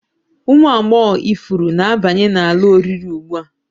Ụmụ agbọghọ ifuru na-abanye n'ala oriri ugbu a